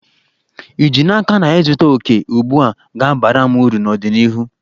Ì ji n'aka na ịzụta òkè ugbu a, ga-abara m uru n'ọdịnihu?